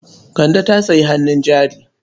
Kande ta sayi hannun jari.